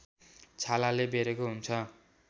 छालाले बेरेको हुन्छ